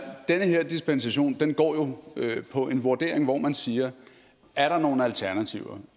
den her dispensation går jo på en vurdering hvor man siger er der nogle alternativer